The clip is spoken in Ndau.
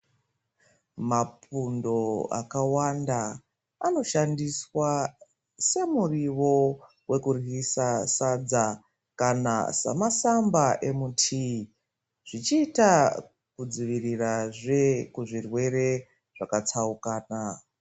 Mapundo akawanda anoshandiswa semuriwo wekuryisa sadza ,kana samasamba emutiyi, zvichiita kudzivirirazve kuzvirwere zvakatsaukana.